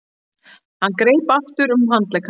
Hann greip aftur um handlegg hans.